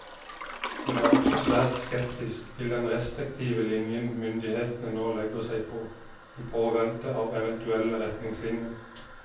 Hun er også svært skeptisk til den restriktive linjen myndighetene nå legger seg på, i påvente av eventuelle retningslinjer.